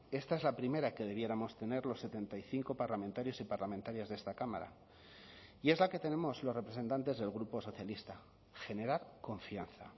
esta es la primera que debiéramos tener los setenta y cinco parlamentarios y parlamentarias de esta cámara y es la que tenemos los representantes del grupo socialista generar confianza